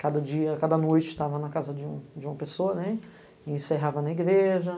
Cada dia, cada noite, estava na casa de uma pessoa e encerrava na igreja.